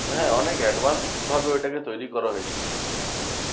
হ্যাঁ অনেক advanced ভাবে ওইটা কে তৈরী করা হয়েছিল।